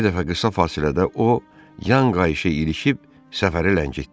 Bir dəfə qısa fasilədə o yan qayışı irişib səfəri ləngitdi.